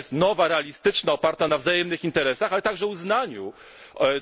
Potrzebna jest polityka nowa, realistyczna, oparta na wzajemnych interesach, ale także na uznaniu